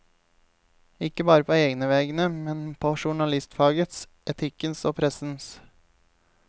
Ikke bare på egne vegne, men på journalistfagets, etikkens og pressens.